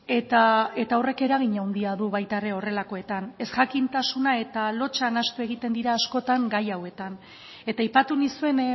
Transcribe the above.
eta horrek eragin handia du baita ere horrelakoetan ez jakintasuna eta lotsa nahastu egiten dira askotan gai hauetan eta aipatu nizuen